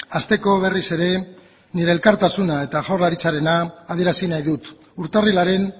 hasteko berriz ere nire elkartasuna eta jaurlaritzarena adierazi nahi dut urtarrilaren